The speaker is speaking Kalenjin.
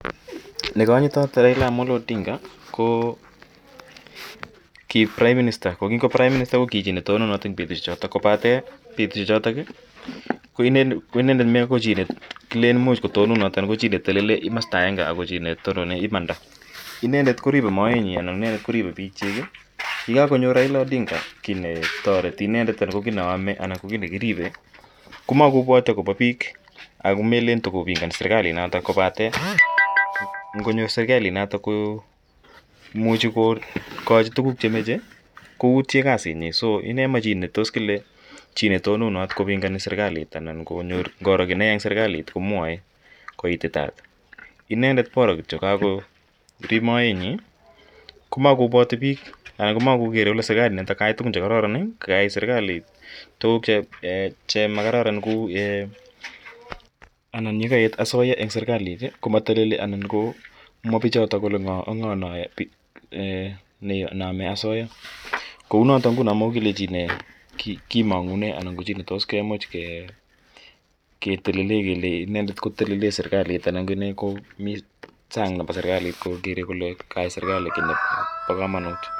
Ne kanyitat Raila Amolo Odinga ko ki prime minister ,ko kingo prime minister ko ki chito ne kitononat petushechotok kopate petushechu ko inendet mako chi ne kilen imuch kotononat anan ko chi ne telele komasta agenge ako chi ne tonone imanda. Inendet ko ripe moet nyi anan inendet koripe piil chiik. Ye kakonyor Raila Odinga ki ne tareti inendet anan ko ki ne ame ana ko ki ne kiripe ko makopwati akopa piik ako melen tukopingani serikalinotok kopate ngonyor serikalinotok ko imuchi kokachi tuguk che mache koutye kasitnyi. So inendet ko ma chi ne tos kile chi ne tononat kopingani serkalit anan ko ngoro ki ne ya eng' serikalit komwae ko ititaat. Inendet bora kityo kakorip moetnyi komakopwati piik anan ko mako kere kole serikalinotok kayai tugun che kararanen ko kayae serkalit tuguk che makararan anan ye kaet asoya eng' serkalit ko ma teleli anan komwa pichotok kole ka ng'o ak ng'o ne ame asoya. Kou notok nguno ko makoi kile chi ne kimang'une anan ko chi ne tos ki much ketele kele inendet ko telele serkalit anan inendet ko mi sang' nepo serkalit kokere kole kayai serkalit kiit nepo kamanut.